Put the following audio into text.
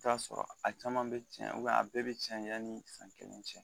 T'a sɔrɔ a caman be tiɲɛ a bɛɛ bɛ tiɲɛ ya ni san kelen cɛ.